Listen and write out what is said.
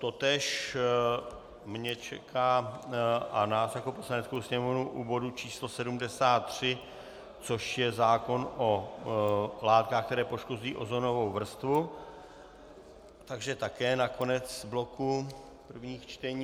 Totéž mě čeká a nás jako Poslaneckou sněmovnu u bodu číslo 73, což je zákon o látkách, které poškozují ozonovou vrstvu, takže také na konec bloku prvních čtení.